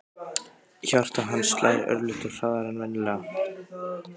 Hjarta hans slær örlitlu hraðar en venjulega.